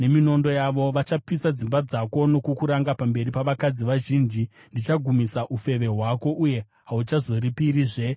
Vachapisa dzimba dzako nokukuranga pamberi pavakadzi vazhinji. Ndichagumisa ufeve hwako, uye hauchazoripirizve vadiwa vako.